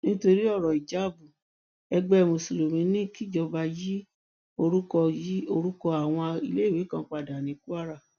nítorí ọrọ ìjáàbù ẹgbẹ mùsùlùmí ní kìjọba yí orúkọ yí orúkọ àwọn iléèwé kan padà ní kwara